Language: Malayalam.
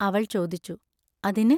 അവൾ ചോദിച്ചു: അതിന്?